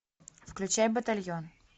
включай батальон